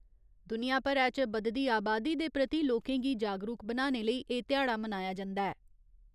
दुनिया भरै च बधदी आबादी दे प्रति लोकें गी जागरुक बनाने लेई एह् ध्याड़ा मनाया जंदा ऐ।